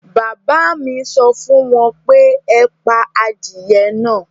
Bàbá à mi sọ fún wọn pé; ẹ pa adìye náà